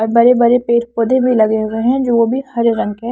बड़े-बड़े पेड़ पौधे भी लगे हुए हैं जो वो भी हरे रंग के है।